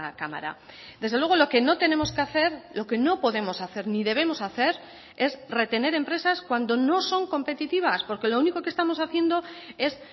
cámara desde luego lo que no tenemos que hacer lo que no podemos hacer ni debemos hacer es retener empresas cuando no son competitivas porque lo único que estamos haciendo es